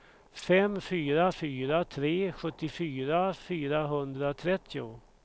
fem fyra fyra tre sjuttiofyra fyrahundratrettio